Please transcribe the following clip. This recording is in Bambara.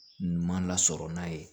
Ɲuman lasɔrɔ n'a ye